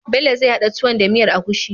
Bell zai hada tuwon da miyar agushi